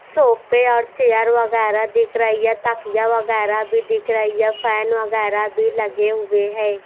सोफे और चेयर वगैरह दिख रही है यह तकिया वगैरह भी दिख रही है फैन वगैरह भी लगे हुए है।